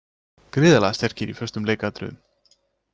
Gríðarlega sterkir í föstum leikatriðum.